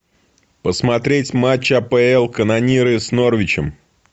посмотреть матч апл канониры с норвичем